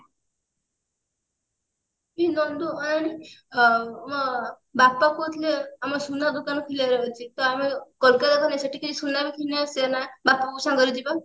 ଅନାନି ଅ ଆମ ବାପା କହୁଥିଲେ ଆମର ସୁନା ଦୋକାନ ଖୋଲିବାର ଅଛି ତ ଆମେ କୋଲକତା ଗଲେ ସେଠି କିଛି ସୁନା ବି କିଣି ନେଇ ଆସିବା ନା ବାପା ବୋଉ ସାଙ୍ଗରେ ଯିବେ